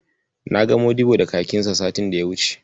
Na ga Modibbo da kakinksa satin da ya wuce.